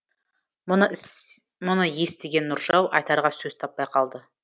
мұны естіген нұржау айтарға сөз таппай қалды